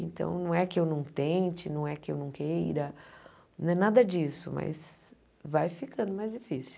Então, não é que eu não tente, não é que eu não queira, não é nada disso, mas vai ficando mais difícil.